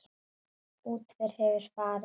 Útför hefur farið fram.